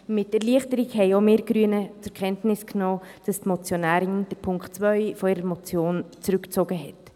Mit Erleichterung nahmen auch wir Grünen zur Kenntnis, dass die Motionärin den Punkt 2 ihrer Motion zurückgezogen hat.